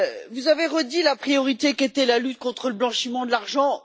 Vous avez réaffirmé la priorité qu'était la lutte contre le blanchiment de l'argent.